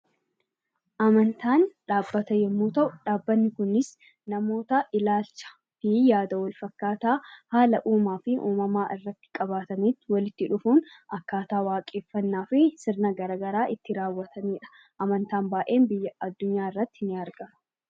Amantaan dhaabbata yoo ta'u, dhaabbanni Kunis namoota ilaalchaa fi yaada wal fakkaataa haala uuumaa fi uumamaa irratti qabaatan walitti dhufuun akkaataa waaqeffannaa fi sirna garaagaraa itti raawwatanidha. Amantaan baay'een addunyaa irratti ni argama